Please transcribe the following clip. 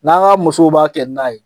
N'an ka musow b'a kɛ na ye